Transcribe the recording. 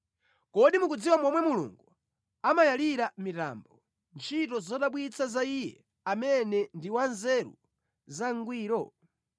Kodi mukudziwa momwe Mulungu amayalira mitambo, ntchito zodabwitsa za Iye amene ndi wanzeru zangwiro?